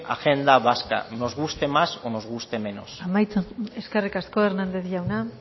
agenda vasca nos guste más o nos guste menos eskerrik asko hernández jauna